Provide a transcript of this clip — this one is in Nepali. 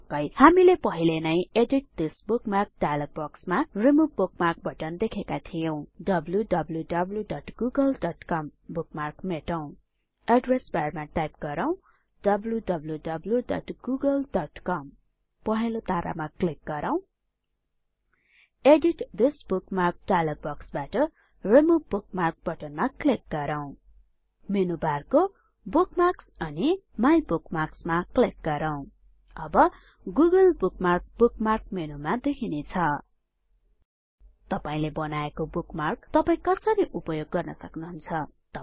पक्कै हामीले पहिले नै एडिट थिस् बुकमार्क डाइलग बक्समा रिमुव बुकमार्क बटन देखेका थियौं wwwgooglecom बुकमार्क मेटौं एड्रेस बारमा टाइप गरौँ wwwgooglecom पहेंलो तारामा क्लिक गरौ एडिट थिस् बुकमार्क डाइलग बक्सबाट रिमुव बुकमार्क बटनमा क्लिक गरौ मेनु बारको बुकमार्क्स अनि माइबुकमार्क्स मा क्लिक गरौ अब गुगले बुकमार्क बुकमार्क मेनुमा देखिने छैन तपाईले बनाएको बुकमार्क तपाई कसरी उपयोग गर्न सक्नुहुन्छ